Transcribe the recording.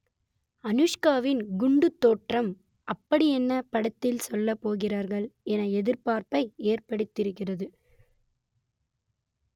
அனுஷ்காவின் குண்டுத் தோற்றம் அப்படியென்ன படத்தில் சொல்லப் போகிறார்கள் என எதிர்பார்ப்பை ஏற்படுத்தியிருக்கிறது